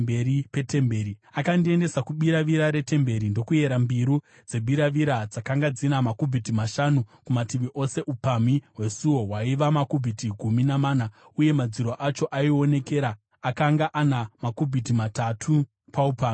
Akandiendesa kubiravira retemberi ndokuyera mbiru dzebiravira, dzakanga dzina makubhiti mashanu kumativi ose. Upamhi hwesuo hwaiva makubhiti gumi namana uye madziro acho aionekera akanga ana makubhiti matatu paupamhi kumativi ose.